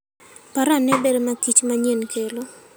Par ane ber makich manyien kelo.